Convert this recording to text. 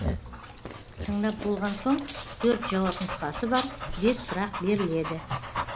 тыңдап болған соң төрт жауап нұсқасы бар бес сұрақ беріледі